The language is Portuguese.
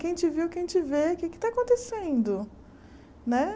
Quem te viu, quem te vê, o que é que está acontecendo né?